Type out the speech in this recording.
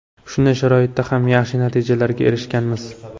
Shunday sharoitda ham yaxshi natijalarga erishganmiz.